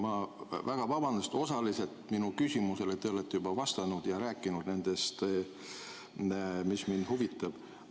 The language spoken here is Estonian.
Ma palun väga vabandust, sest osaliselt olete te minu küsimusele juba vastanud ja rääkinud nendest asjadest, mis mind huvitavad.